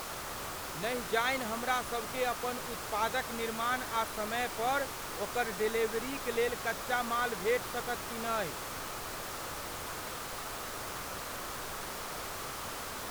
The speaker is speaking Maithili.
नहि जानि हमरासभकेँ अपन उत्पादक निर्माण आ समय पर ओकर डेलीवेरीक लेल कच्चा माल भेटि सकत कि नहि।